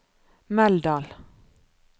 Meldal